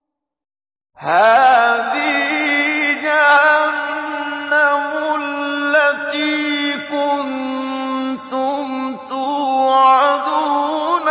هَٰذِهِ جَهَنَّمُ الَّتِي كُنتُمْ تُوعَدُونَ